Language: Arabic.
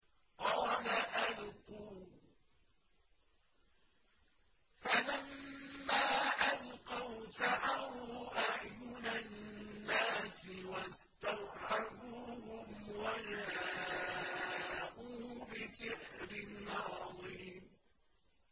قَالَ أَلْقُوا ۖ فَلَمَّا أَلْقَوْا سَحَرُوا أَعْيُنَ النَّاسِ وَاسْتَرْهَبُوهُمْ وَجَاءُوا بِسِحْرٍ عَظِيمٍ